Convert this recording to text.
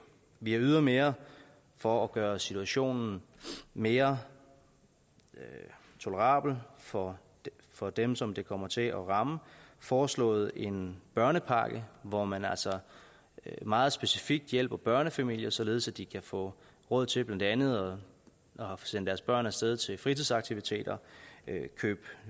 vi har ydermere for at gøre situationen mere tolerabel for for dem som det kommer til at ramme foreslået en børnepakke hvor man altså meget specifikt hjælper børnefamilier således at de kan få råd til blandt andet at sende deres børn af sted til fritidsaktiviteter købe